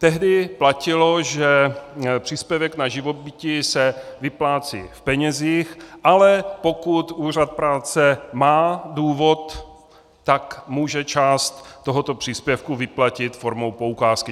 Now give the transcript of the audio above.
Tehdy platilo, že příspěvek na živobytí se vyplácí v penězích, ale pokud úřad práce má důvod, tak může část tohoto příspěvku vyplatit formou poukázky.